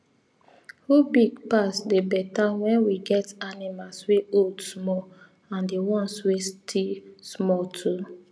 who big pass they better when we get animals wey old small and the ones wey still small too